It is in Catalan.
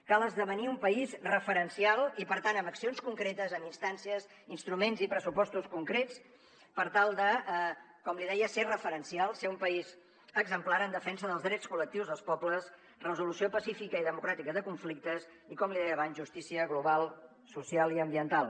cal esdevenir un país referencial i per tant amb accions concretes amb instàncies instruments i pressupostos concrets per tal de com li deia ser referencial ser un país exemplar en defensa dels drets col·lectius dels pobles resolució pacífica i democràtica de conflictes i com li deia abans justícia global social i ambiental